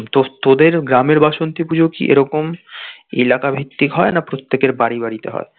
তো তোদের গ্রামের বাসন্তী পুজো কি এরকম এলাকা ভিত্তিক হয় না প্রত্যেকের বাড়ি বাড়িতে হয়?